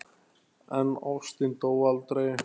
En ástin dó aldrei.